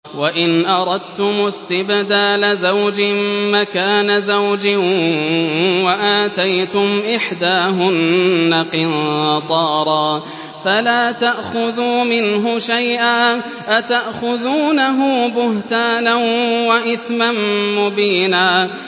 وَإِنْ أَرَدتُّمُ اسْتِبْدَالَ زَوْجٍ مَّكَانَ زَوْجٍ وَآتَيْتُمْ إِحْدَاهُنَّ قِنطَارًا فَلَا تَأْخُذُوا مِنْهُ شَيْئًا ۚ أَتَأْخُذُونَهُ بُهْتَانًا وَإِثْمًا مُّبِينًا